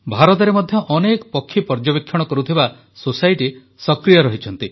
ଭାରତରେ ମଧ୍ୟ ଅନେକ ପକ୍ଷୀ ପର୍ଯ୍ୟବେକ୍ଷଣ କରୁଥିବା ସୋସାଇଟି ସକ୍ରିୟ ରହିଛନ୍ତି